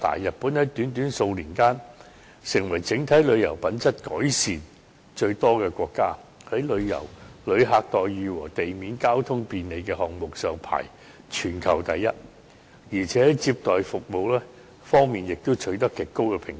日本在短短數年間，成為整體旅遊品質改善最多的國家，在"旅客待遇"和"地面交通便利"項目上排行全球第一，而且在"接待服務"方面也取得極高的評價。